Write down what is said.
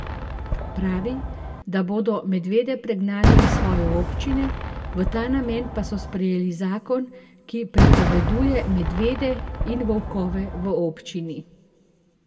Pravi, da bodo medvede pregnali iz svoje občine, v ta namen pa so sprejeli zakon, ki prepoveduje medvede in volkove v občini.